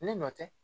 Ne nɔ tɛ